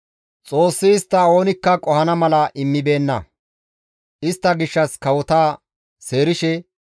Xoossi istta oonikka qohanaas immibeenna; istta gishshas kawota seerishe,